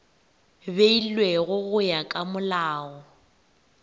beilwego go ya ka molao